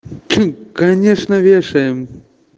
конечно вешаем